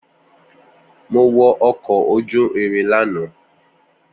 Mo wọ ọkọ̀ ojú irin lánàá